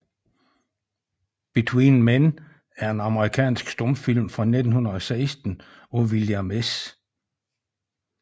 Between Men er en amerikansk stumfilm fra 1916 af William S